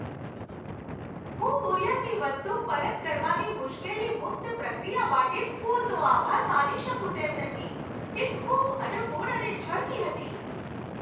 હું કુરિયરની વસ્તુ પરત કરવાની મુશ્કેલી મુક્ત પ્રક્રિયા માટે પૂરતો આભાર માની શકું તેમ નથી, તે ખૂબ અનુકૂળ અને ઝડપી હતી.